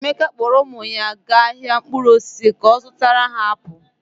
Emeka kpọọrọ ụmụ ya gaa ahịa mkpụrụ osisi ka ọ zụtara ha apụl.